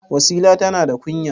Wasila tana da kunya.